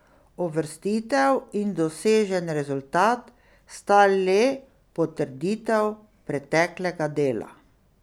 Uvrstitev in dosežen rezultat sta le potrditev preteklega dela.